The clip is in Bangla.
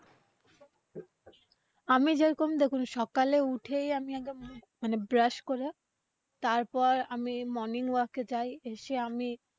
আমি যে রকম দেখুন সকালে উঠেই আমি আগে মানে brush করে তারপর, আমি morning work যাই এসে আমি